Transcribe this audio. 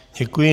Děkuji.